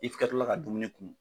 I tila ka dumuni kun.